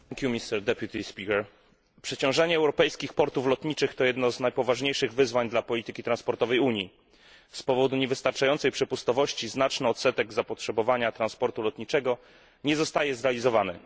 Panie Przewodniczący! Przeciążanie europejskich portów lotniczych to jedno z najpoważniejszych wyzwań dla polityki transportowej Unii. Z powodu niewystarczającej przepustowości znaczny odsetek zapotrzebowania transportu lotniczego nie zostaje zrealizowany.